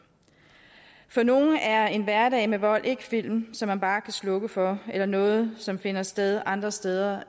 nogle er en hverdag med vold ikke film som man bare kan slukke for eller noget som finder sted andre steder